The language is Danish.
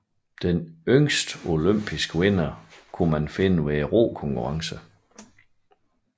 Den yngste olympiske vinder var at finde ved rokonkurrencerne